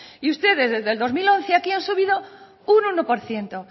y ustedes desde el dos mil once a aquí han subido un uno por ciento